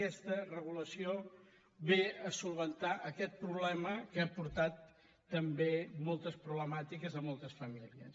aquesta regulació ve a resoldre aquest problema que ha portat també moltes problemàtiques a moltes famílies